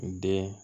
Den